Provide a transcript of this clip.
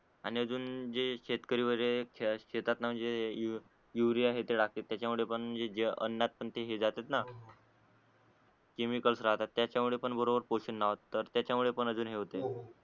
आणि अजून जे शेतकरी वगरे शेतात अं म्हणजे यु युरिया हे ते टाकतात त्याच्यामुळे पण जे अनात पण ते हे जातातना हो हो केमिक्ल्स राहतात त्याच्यामुळे पण बरोबर पोषण नाय होत तर त्याच्यामुळे पण अजून हे होते हो हो